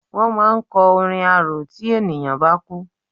Wọ́n máa ń kọ orin arò tí ènìyàn bá kú.